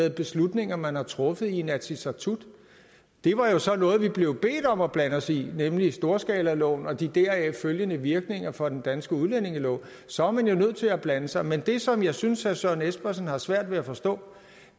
i beslutninger man har truffet i inatsisartut det var så noget vi blev bedt om at blande sig i nemlig storskalaloven og de deraf følgende virkninger for den danske udlændingelov så er man jo nødt til at blande sig men det som jeg synes herre søren espersen har svært ved at forstå